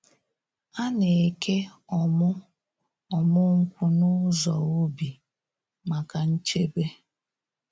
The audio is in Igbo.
A na-eke ọmụ ọmụ nkwụ n’ụzọ ubi maka nchebe.